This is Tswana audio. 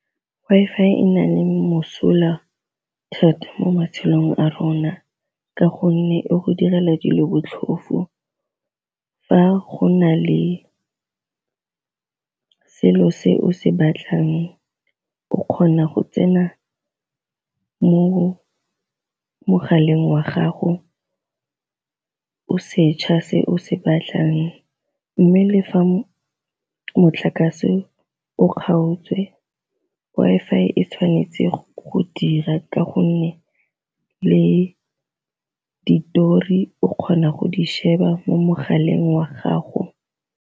Wi-Fi e na le mosola thata mo matshelong a rona ka gonne e go direla dilo botlhofo fa go na le selo se o se batlang o kgona go tsena mo mogaleng wa gago o setšha se o se batlang, mme le fa motlakase o kgaotswe Wi-Fi e tshwanetse go dira ka gonne le ditori o kgona go di sheba mo mogaleng wa gago.